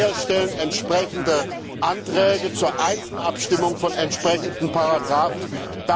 Wir stellen entsprechende Anträge zur Einzelabstimmung von entsprechenden Absätzen.